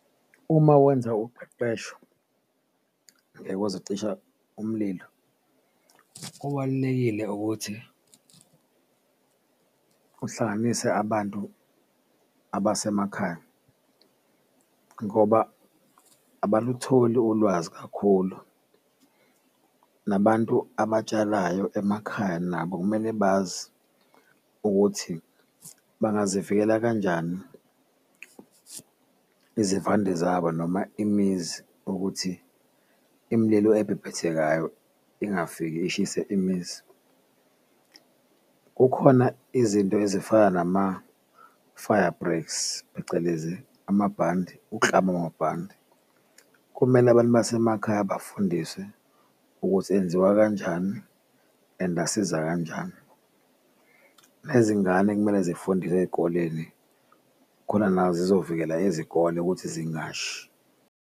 Uma wenza uqeqesho ngekwezokucisha umlilo kubalulekile ukuthi uhlanganise abantu abasemakhaya ngoba abalutholi ulwazi kakhulu, nabantu abatshalayo emakhaya nabo kumele bazi ukuthi bangazivikela kanjani izivande zabo noma imizi ukuthi imililo ebhebhethekayo ingafiki ishise imizi. Kukhona izinto ezifana nama-fire break phecelezi amabhande wamabhande kumele abantu basemakhaya bafundiswe ukuthi enziwa kanjani and asiza kanjani, nezingane kumele zifundiswe eyikoleni khona nazo zizovikela izikole ukuthi zingashi.